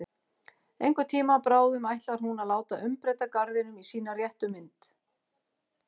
Einhvern tíma bráðum ætlar hún að láta umbreyta garðinum í sína réttu mynd.